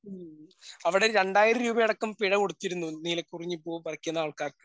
ഉം അവിടെ രണ്ടായിരം രൂപ അടക്കം പിഴ കൊടുത്തിരുന്നു. നീലകുറിഞ്ഞി പൂവ് പറിക്കുന്ന ആൾക്കാർക്ക്.